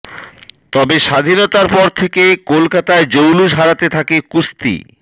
তবে স্বাধীনতার পর থেকে কলকাতায় জৌলুস হারাতে থাকে কুস্তি